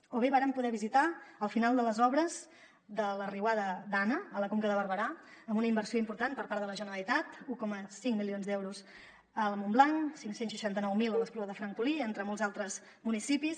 o bé vàrem poder visitar el final de les obres per la riuada dana a la conca de barberà amb una inversió important per part de la generalitat un coma cinc milions d’euros a montblanc cinc cents i seixanta nou mil a l’espluga de francolí entre molts altres municipis